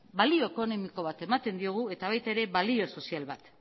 balio ekonomiko bat ematen diogu eta baita ere balio sozial bat